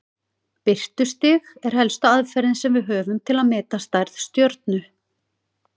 Birtustig er helsta aðferðin sem við höfum til að meta stærð stjörnu.